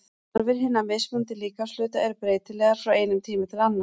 Þarfir hinna mismunandi líkamshluta eru breytilegar frá einum tíma til annars.